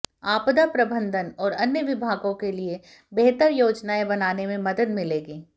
आपदा प्रबंधन और अन्य विभागों के लिए बेहतर योजनाएं बनाने में मदद मिलेगी